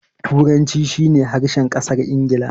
Turanci shi ne harshen ƙasar Ingila.